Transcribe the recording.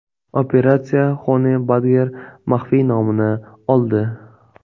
Operatsiya Honey Badger maxfiy nomini oldi.